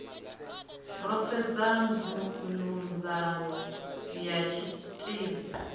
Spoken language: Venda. ro sedza nzudzanyo ya tshiteidzhi